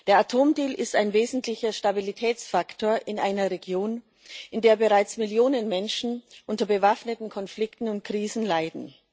Der Atomdeal ist ein wesentlicher Stabilitätsfaktor in einer Region, in der bereits Millionen Menschen unter bewaffneten Konflikten und Krisen leiden.